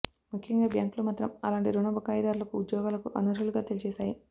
ముఖ్యంగా బ్యాంకులు మాత్రం అలాంటి రుణ బకాయిదారులను ఉద్యోగాలకు అనర్హులుగా తేల్చేశాయి